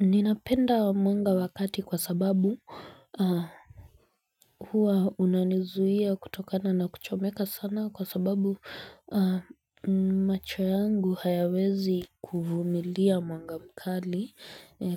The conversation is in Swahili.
Ninapenda mwanga wakati kwa sababu huwa unanizuia kutokana na kuchomeka sana kwa sababu macho yangu hayawezi kuvumilia mwanga mkali.